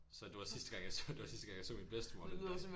Så det var sidste gang jeg så det var sidste gang jeg så min bedstemor den dag